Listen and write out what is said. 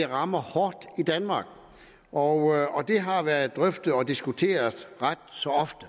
rammer hårdt i danmark og det har været drøftet og diskuteret ret så ofte